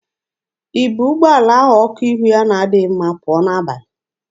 I bu ụgbọala ahụ ọkụ ihu ya na-adịghị mma pụọ n'abalị?